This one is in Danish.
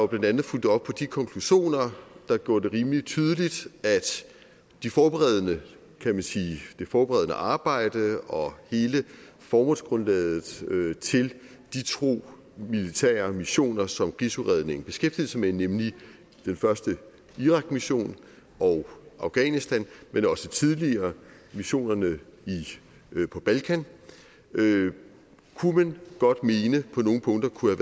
blandt andet fulgte op på de konklusioner der gjorde det rimelig tydeligt at det forberedende det forberedende arbejde og hele formålsgrundlaget til de to militære missioner som krigsudredningen beskæftigede sig med nemlig den første irakmission og afghanistan men også tidligere missionerne på balkan kunne man godt mene på nogle punkter kunne